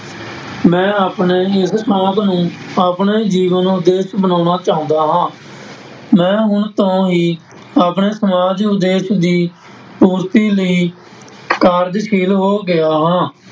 ਮੈਂ ਆਪਣੇ ਇਸ ਸ਼ੌਕ ਨੂੰ ਆਪਣੇ ਜੀਵਨ ਉਦੇਸ਼ ਬਣਾਉਣਾ ਚਾਹੁੰਦਾ ਹਾਂ, ਮੈਂ ਹੁਣ ਤੋਂ ਹੀ ਆਪਣੇ ਸਮਾਜ ਉਦੇਸ਼ ਦੀ ਪੂਰਤੀ ਲਈ ਕਾਰਜ਼ਸ਼ੀਲ ਹੋ ਗਿਆ ਹਾਂ।